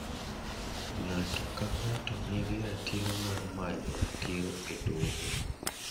Ng'ato ka ng'ato nigi ratiro mar manyo ratiro e doho.